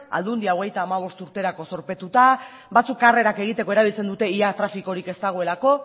aldundia hogeita hamabost urterako zorpetuta batzuk karrerak egiteko erabiltzen dute ia trafikorik ez dagoelako